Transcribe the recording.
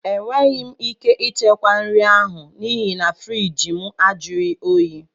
Enweghị m ike ichekwa nri ahụ n'ihi na friiji mụ ajughi oyi